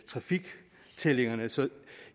trafiktællingerne så